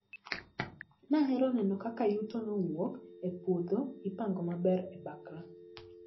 Nahero neno kaka yuto mowuok e puodho ipango maber e bakra.